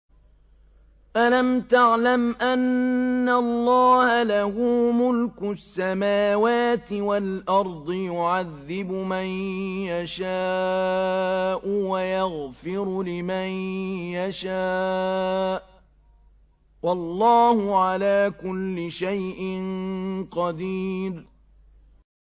أَلَمْ تَعْلَمْ أَنَّ اللَّهَ لَهُ مُلْكُ السَّمَاوَاتِ وَالْأَرْضِ يُعَذِّبُ مَن يَشَاءُ وَيَغْفِرُ لِمَن يَشَاءُ ۗ وَاللَّهُ عَلَىٰ كُلِّ شَيْءٍ قَدِيرٌ